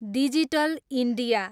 digital India